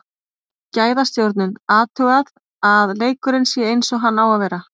Gæðastjórnun, athugað að leikurinn sé eins og hann á að vera.